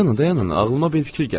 dayanın, ağlıma bir fikir gəldi.